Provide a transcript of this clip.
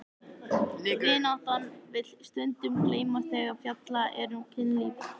Vináttan vill stundum gleymast þegar fjallað er um kynlíf.